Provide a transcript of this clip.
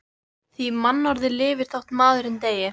Því mannorðið lifir þótt maðurinn deyi.